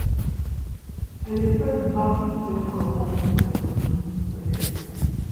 I dey first baff stress comot from my bodi wen I reach house.